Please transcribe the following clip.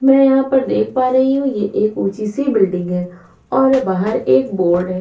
में यहा पर देख पा रही हु ये एक उची सी बिल्डिंग है और बाहर एक बोर्ड है।